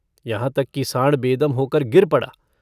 यहाँ तक कि साँड़ बेदम होकर गिर पड़ा।